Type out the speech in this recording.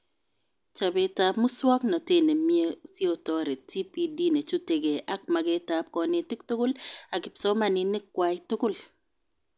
Chobetab muswoknotet nemie siotoret TPD nechutekee ak magetab konetik tugul ak kipsomanink kwai tugul